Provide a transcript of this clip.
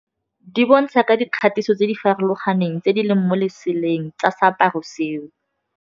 Di bontsha ka dikgatiso tse di farologaneng tse di leng mo leseleng tsa seaparo seo.